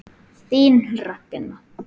Þín Ragna.